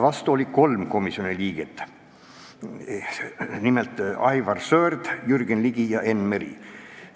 Vastu oli 3 komisjoni liiget, nimelt Aivar Sõerd, Jürgen Ligi ja Enn Meri.